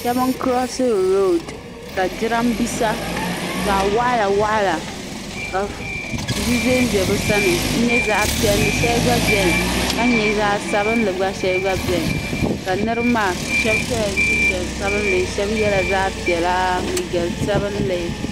Shabi n curosiri road. ka jiran bisa zaɣi waɣila waɣila ka di ʒan ʒa bi sani n nyɛ zaɣi piɛli shɛli gba beni. ka nyɛ zaɣi sabinli gba beni. niribi maa shabi sola jin jam sabinli shabi yela liiga piɛla liiga sabinli.